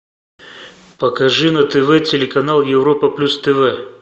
покажи на тв телеканал европа плюс тв